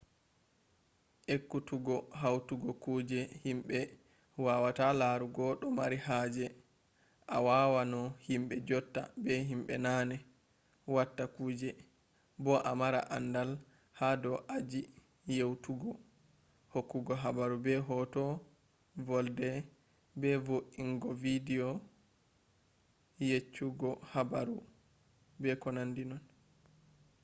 ekkutuggo hautugo kuje himbe wawata larugo do mari haje a wawa no himbe jotta be himbe naane watta kuje bo a mara andal ha do aji yeutugohokkugo habaru be hoto volde be vo’ingo bidiyo yeccugo habaru etc